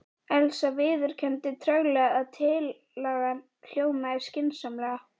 Elsa viðurkenndi treglega að tillagan hljómaði skynsamlega.